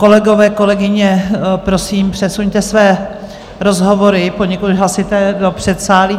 Kolegové, kolegyně, prosím, přesuňte své rozhovory, poněkud hlasité, do předsálí.